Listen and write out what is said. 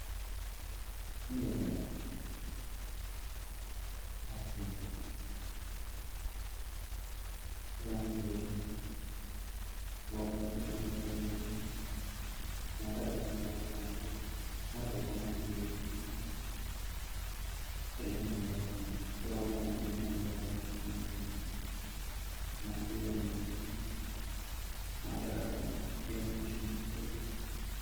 n yeroo baaee hafti hin fayyada ibaanki fayyadan roo baayeeroo fayyadan ka maallaqa saynaa tokko raanr gama tokkomaa angeessi qilleensuma irrattihiu yeroo kanama dimma nama barbaacu duuniya gar naasiyan yrobaa maallaqa akmoo gamitiii fayyada